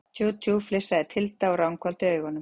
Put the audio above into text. Tjú, tjú, flissaði Tilda og ranghvolfdi augum.